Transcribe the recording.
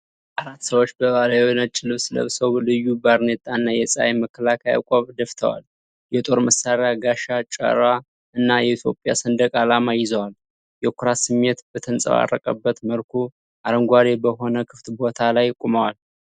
አራት ሰዎች ባህላዊ ነጭ ልብስ ለብሰው፣ ልዩ ባርኔጣና የፀሐይ መከላከያ ቆብ ደፍተዋል። የጦር መሳሪያ፣ ጋሻ፣ ጮራ እና የኢትዮጵያ ሰንደቅ ዓላማ ይዘዋል። የኩራት ስሜት በተንፀባረቀበት መልኩ አረንጓዴ በሆነ ክፍት ቦታ ላይ ቆመዋል።